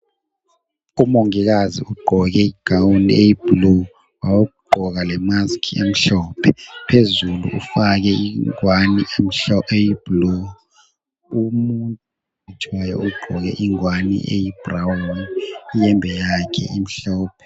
Umongikazi ugqoke igawuni eyibhulu wagqoka lemasikhi emhlophe phezulu ufake ingowane eyibhulu. Umuntu oyelatshwayo ugqoke ingowane eyibhurawuni iyembe yakhe imhlophe.